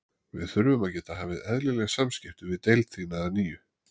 Við þurfum að geta hafið eðlileg samskipti við deild þína að nýju